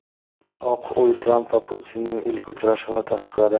Oq uy Tramp va Putinning ilk uchrashuvini tasdiqladi .